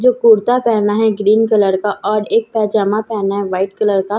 जो कुर्ता पेहना है ग्रीन कलर का और एक पैजामा पेहना है वाइट कलर का।